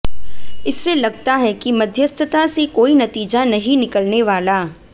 इससे लगता है कि मध्यस्थता से कोई नतीजा नहीं निकलने वाला